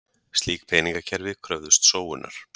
slík peningakerfi kröfðust sóunar